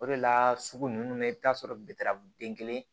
O de la sugu ninnu na i bɛ t'a sɔrɔ den kelen